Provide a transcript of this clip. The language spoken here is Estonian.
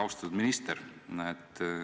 Austatud minister!